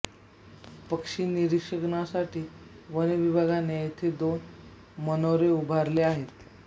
पक्षी निरीक्षणासाठी वनविभागाने येथे दोन मनोरे उभारले आहेत